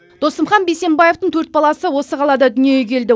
досымхан бейсенбаевтың төрт баласы осы қалада дүниеге келді